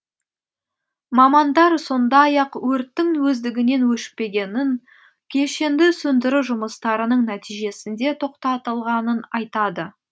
мамандар сондай ақ өрттің өздігінен өшпегенін кешенді сөндіру жұмыстарының нәтижесінде тоқтатылғанын айтады